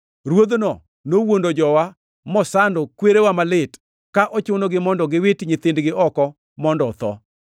Ruodhno nowuondo jowa mosando kwereu malit, ka ochunogi mondo giwit nyithindgi oko mondo otho.